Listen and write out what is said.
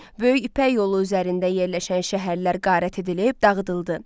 Böyük İpək yolu üzərində yerləşən şəhərlər qarət edilib, dağıdıldı.